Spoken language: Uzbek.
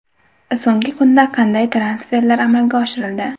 So‘nggi kunda qanday transferlar amalga oshirildi?.